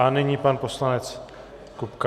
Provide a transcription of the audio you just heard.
A nyní pan poslanec Kupka.